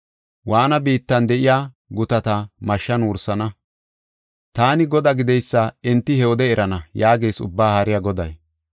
Waanna biittan de7iya gutata mashshan wursana. Taani Godaa gideysa enti he wode erana’ yaagees Ubbaa Haariya Goday.